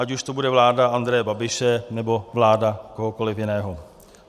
Ať už to bude vláda Andreje Babiše, nebo vláda kohokoliv jiného.